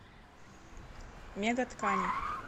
мега ткани